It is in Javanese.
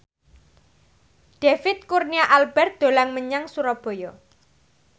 David Kurnia Albert dolan menyang Surabaya